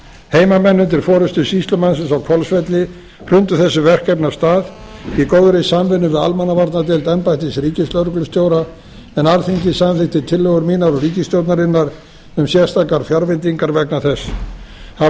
heimamenn undir forustu sýslumannsins á hvolsvelli hrundu þessu verkefni af stað í góðri samvinnu við almannavarnadeild embættis ríkislögreglustjóra en alþingi samþykkti tillögur mínar og ríkisstjórnarinnar um sérstakar fjárveitingar vegna þess hafa